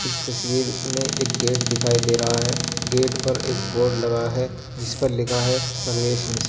इस तस्वीर में एक गेट दिखाई दे रहा है गेट पर एक बोर्ड लगा है जिस पर लिखा है परवेश निषेध।